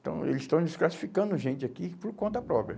Então, eles estão desclassificando gente aqui por conta própria.